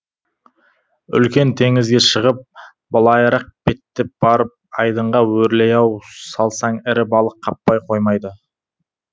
үлкен теңізге шығып былайырақ беттеп барып айдынға өрлей ау салсаң ірі балық қаппай қоймайды